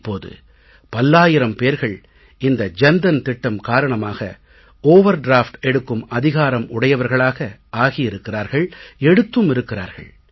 இப்போது பல்லாயிரம் பேர்கள் இந்த ஜன் தன் திட்டம் காரணமாக ஓவர்டிராஃப்ட் எடுக்கும் அதிகாரம் உடையவர்களாக ஆகி இருக்கிறார்கள் எடுத்தும் இருக்கிறார்கள்